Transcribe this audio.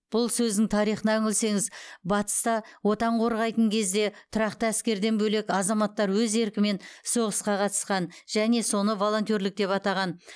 бұл сөздің тарихына үңілсеңіз батыста отан қорғайтын кезде тұрақты әскерден бөлек азаматтар өз еркімен соғысқа қатысқан және соны волонтерлік деп атаған